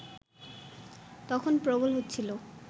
তখন প্রবল হচ্ছিল